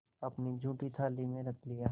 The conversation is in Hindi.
अपनी जूठी थाली में रख लिया